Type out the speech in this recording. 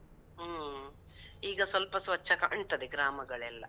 ಹೂಂ, ಈಗ ಸ್ವಲ್ಪ ಸ್ವಚ್ಛ ಕಾಣ್ತದೆ ಗ್ರಾಮಗಳೆಲ್ಲ.